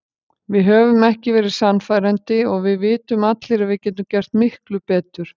Við höfum ekki verið sannfærandi og við vitum allir að við getum gert miklu betur.